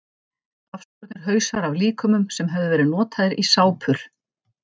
Afskornir hausar af líkömum sem höfðu verið notaðir í sápur.